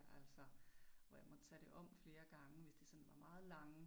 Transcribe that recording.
Altså hvor jeg måtte tage det om flere gange hvis de var meget lange